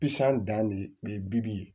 Pisɔn dan de bibi ye